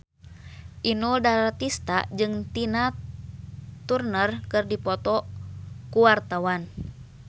Inul Daratista jeung Tina Turner keur dipoto ku wartawan